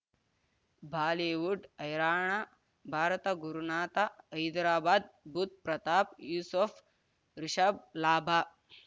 Bollywood ಹೈರಾಣ ಭಾರತ ಗುರುನಾಥ ಹೈದರಾಬಾದ್ ಬುಧ್ ಪ್ರತಾಪ್ ಯೂಸುಫ್ ರಿಷಬ್ ಲಾಭ